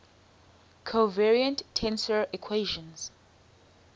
covariant tensor equations